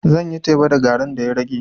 Zan yi teba da garin da ya rage.